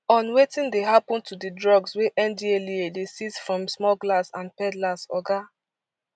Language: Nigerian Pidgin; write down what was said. on wetin dey happen to di drugs wey ndlea dey seize from smugglers and peddlers oga